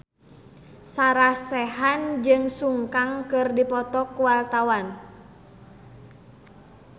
Sarah Sechan jeung Sun Kang keur dipoto ku wartawan